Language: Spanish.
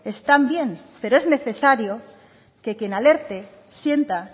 están bien pero es necesario que quien alerte sienta